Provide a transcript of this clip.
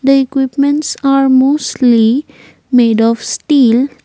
the equipments are mostly made of steel.